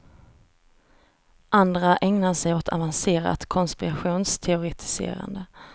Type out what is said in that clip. Andra ägnar sig åt avancerat konspirationsteoretiserande.